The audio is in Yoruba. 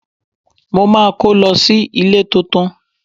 Mo máa kó lọ sí ilé tuntun.